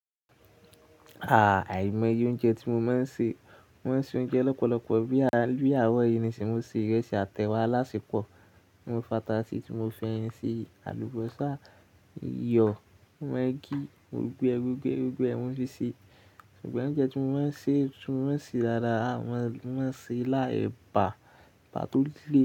Ah! Àìmọ ye oúnjẹ tí mo máa ń ṣe. Mo máa ń ṣe oúnjẹ lọ́pọ̀lọ́pọ̀ bíi ààro yii nisin, mo se ìrẹsì àtẹwà alásepò. Mo fata ṣí, tí mo f'eyin ṣi, àlùbọ́sà, iyọ̀, maagì, gbogbo ẹ́ gbogbo ẹ́ gbogbo ẹ́ mo fí sì. Ṣùgbọ́n oúnjẹ tí mo máa ń ṣe tí mo máa ń ṣe dáadáa ni mo máa ń ṣe ila, ẹ̀bà, ebà to le.